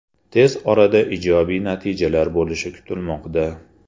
Tez orada ijobiy natijalar bo‘lishi kutilmoqda.